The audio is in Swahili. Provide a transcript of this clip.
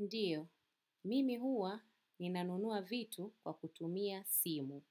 Ndio mimi huwa ninanunua vitu kwa kutumia simu.